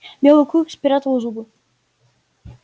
белый клык спрятал зубы